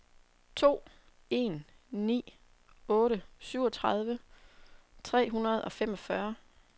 to en ni otte syvogtredive tre hundrede og femogfyrre